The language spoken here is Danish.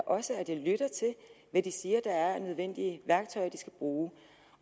også at jeg lytter til hvad de siger der er af nødvendige værktøjer de skal bruge